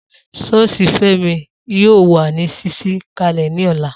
Soosi Femi yóó wà ní ṣíṣí kalẹ ni ọ̀la